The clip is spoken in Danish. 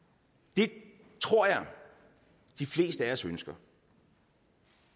det tror jeg at de fleste af os ønsker